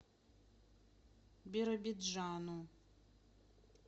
биробиджану